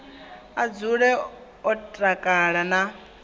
a dzule o takala na